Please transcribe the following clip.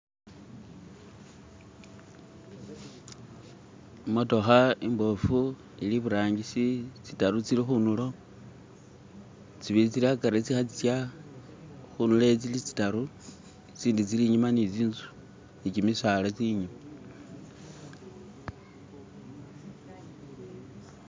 Imotoka imbofu ilibutangisi, zidatu zili kuntulo, zibili zili agati zilikuza, kuntulo ela zili zidatu zindi zili inyuma ni zinzu ni gimisaala.